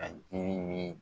A dimi ni